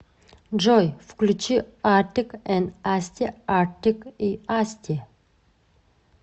джой включи артик энд асти артик и асти